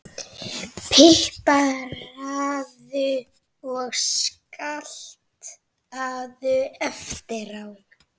Pipraðu og saltaðu eftir á.